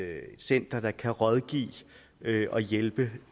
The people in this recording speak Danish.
center der kan rådgive og hjælpe